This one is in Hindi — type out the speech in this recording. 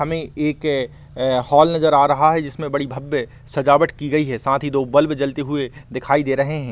हमें एक अ हॉल नजर आ रहा है जिसमे बड़ी भव्य सजावट की गई है साथ ही दो बल्ब जलते हुए दिखाई दे रहे है|